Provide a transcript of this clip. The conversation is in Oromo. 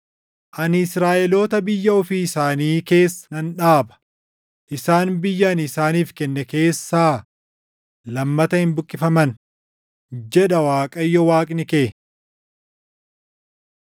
Ani Israaʼeloota biyya ofii isaanii keessa nan dhaaba; isaan biyya ani isaaniif kenne keessaa lammata hin buqqifaman,” jedha Waaqayyo Waaqni kee.